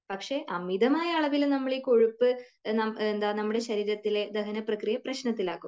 പക്ഷെ അമിതമായ അളവിൽ നമ്മൾ ഈ കൊഴുപ്പ് , എന്താ നമ്മുടെ ശരീരത്തിലെ ദഹന പ്രക്രിയയെ പ്രശ്നത്തിലാക്കും.